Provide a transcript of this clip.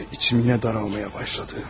Ürəyim yenə sıxılmağa başladı.